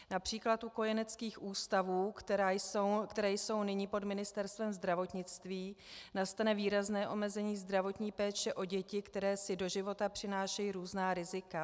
Například u kojeneckých ústavů, které jsou nyní pod Ministerstvem zdravotnictví, nastane výrazné omezení zdravotní péče o děti, které si do života přinášejí různá rizika.